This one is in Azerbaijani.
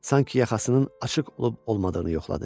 Sanki yaxasının açıq olub olmadığını yoxladı.